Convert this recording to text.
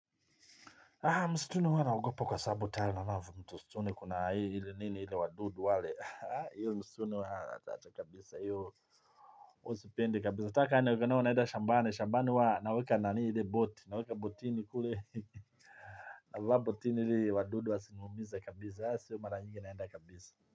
Haa msituni huwa naogopa kwa sababu msituni kuna hii ile nini ile wadudu wale haa hiyo msituni haa acha kabisa hiyo. Sipendi kabisa hata kaa naenda shambani. Shambani huwa naweka nani ile boti naweka botini kule hee hee navaa botini ili wadudu wasiniumize kabisa haa siyo mara nyingi naenda kabisa.